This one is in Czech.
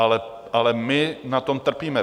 Ale my na tom trpíme .